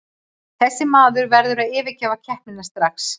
Þessi maður verður að yfirgefa keppnina strax.